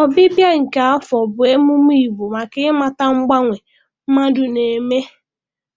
Ọbịbịa nke afọ bụ emume Igbo maka ịmata mgbanwe mmadụ na-eme